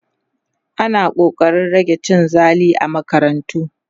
ana ƙoƙarin rage cin zali a makarantu